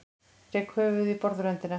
Rek höfuðið í borðröndina.